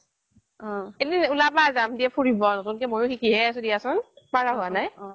এদিন ওলাবা দিয়া যাম দে ফুৰিব নতুন কে মইয়ো সিকিহে আছো দিয়াছোন পাৰা হোৱা নাই